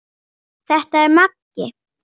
Þetta er Maggi!